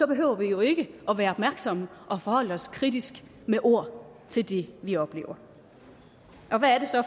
behøver vi jo ikke at være opmærksomme og forholde os kritisk med ord til det vi oplever